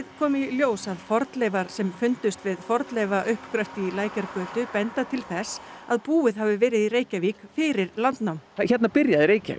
kom í ljós að fornleifar sem fundust við fornleifauppgröft í Lækjargötu benda til þess að búið hafi verið í Reykjavík fyrir landnám hérna byrjaði Reykjavík